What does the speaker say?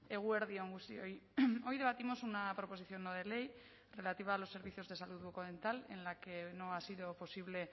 eguerdi on guztioi hoy debatimos una proposición no de ley relativa a los servicios de salud bucodental en la que no ha sido posible